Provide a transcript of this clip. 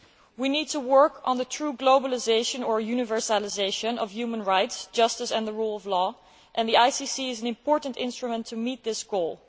We need to work on the true globalisation or universalisation of human rights, justice and the rule of law, and the ICC is an important instrument to meet this goal.